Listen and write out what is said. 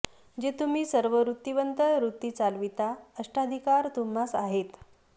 जे तुह्मी सर्व वृतिवंत वृति चालविता अष्टाधिकार तुह्मास आहेत